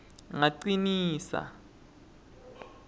ngacinisa